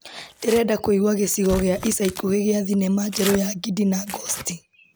Ndĩrenda kũigua gĩcigo gĩa ica ikuhĩ gĩa thinema njerũ ya Ngindi na Ngosti.